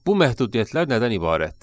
Bu məhdudiyyətlər nədən ibarətdir?